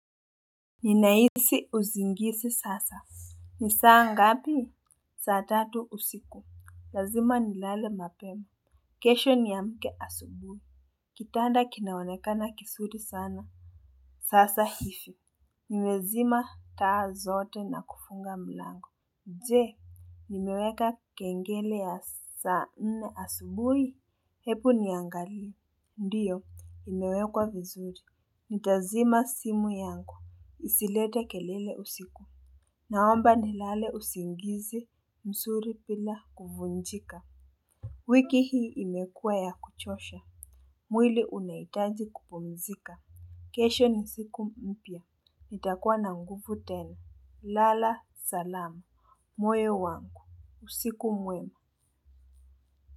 Ninahisi usingizi sasa. Ni saa ngapi? Saa tatu usiku. Lazima nilale mapemu. Kesho niamke asubuhi. Kitanda kinaonekana kizuri sana. Sasa hivi nimezima taa zote na kufunga mlango. Jee, nimeweka kengele ya saa nne asubuhi. Ebu niangalie. Ndiyo, imewekwa vizuri. Nitazima simu yangu. Isilete kelele usiku. Naomba nilale usingizi, mzuri bila kuvunjika. Wiki hii imekua ya kuchosha. Mwili unaitaji kupumizika. Kesho ni siku mpya. Nitakuwa na nguvu tena. Lala, salama. Moyo wangu. Usiku mwema.